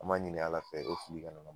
An b'a ɲini ala fɛ o fili kana na